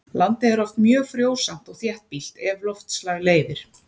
Landið er oft mjög frjósamt og þéttbýlt ef loftslag leyfir.